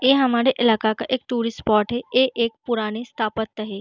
ये हमारे इलाका का एक टूरिस्ट स्पॉट है। ये एक पुराने है।